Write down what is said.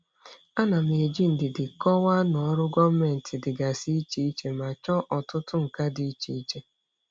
Ana m eji ndidi kọwaa na ọrụ gọọmentị dịgasị iche iche ma chọọ ọtụtụ nka dị iche iche.